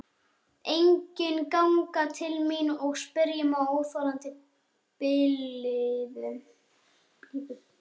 Enginn ganga til mín og spyrja með óþolandi blíðu.